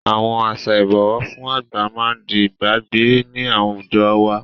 Àwọn àṣà Ìbọ̀wọ́ fún àgbà máa di ìgbàgbé ni àwùjọ wá